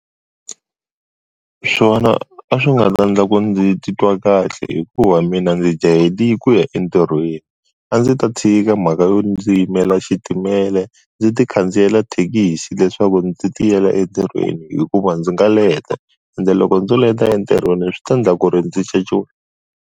Swona a swi nga ta endla ku ndzi titwa kahle hikuva mina ndzi jahele ku ya entirhweni a ndzi ta tshika mhaka yo ndzi yimela xitimela ndzi ti khandziya thekisi leswaku ndzi ti yela entirhweni hikuva ndzi nga leta ende loko ndzo leta entirhweni swi ta endla ku ri ndzi .